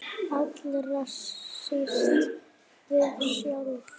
Allra síst við sjálf.